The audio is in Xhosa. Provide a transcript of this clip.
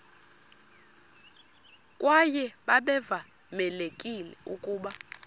kwaye babevamelekile ukuba